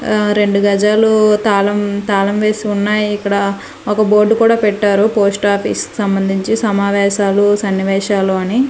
ఆ రెండు గజాలు తాళం తాళం వేసి ఉన్నాయి ఇక్కడ ఒక బోర్డు కూడా పెట్టారు పోస్ట్ ఆఫీస్ కి సంబంధించి సమావేశాలు సన్నివేశాలు అని.